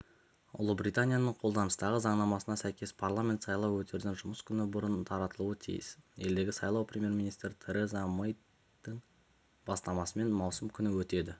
ұлыбританияның қолданыстағы заңнамасына сәйкес парламент сайлау өтерден жұмыс күні бұрын таратылуы тиіс елдегі сайлау премьер-министр тереза мэйдің бастамасымен маусым күні өтеді